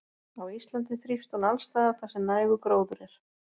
Á Íslandi þrífst hún alls staðar þar sem nægur gróður er.